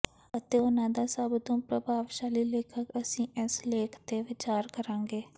ਅਤੇ ਉਨ੍ਹਾਂ ਦਾ ਸਭ ਤੋਂ ਪ੍ਰਭਾਵਸ਼ਾਲੀ ਲੇਖਕ ਅਸੀਂ ਇਸ ਲੇਖ ਤੇ ਵਿਚਾਰ ਕਰਾਂਗੇ